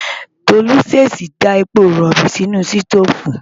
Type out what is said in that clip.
Tolú ṣèèṣì da epo rọ̀bì sínú sítóòfù.